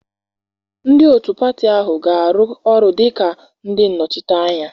Ndị otu pati ahụ ga-arụ ọrụ dị ka ndị nnọchiteanya